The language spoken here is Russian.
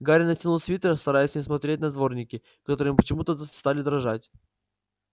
гарри натянул свитер стараясь не смотреть на дворники которые почему-то стали дрожать